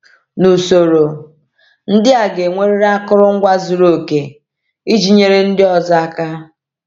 N’usoro, ndị a ga-enwerịrị akụrụngwa zuru oke iji nyere ndị ọzọ aka.